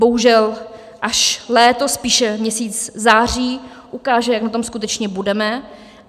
Bohužel až léto, spíš měsíc září ukáže, jak na tom skutečně budeme.